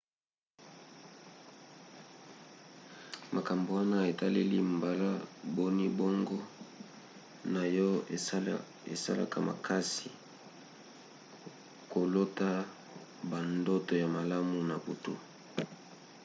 makambo wana etaleli mbala boni boongo na yo esalaka makasi na kolota bandoto ya malamu na butu